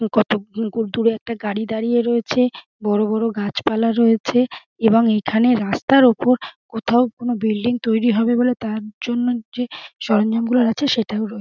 কতক দূরে একটা গাড়ি দাঁড়িয়ে রয়েছে বরবর গাছপালা রয়েছে এবং এখানে রাস্তার উপর কোনো একটা বিল্ডিং তৈরী হবে তার জন্য যে সরঞ্জাম গুলো আছে সেটাও রয়েছে ।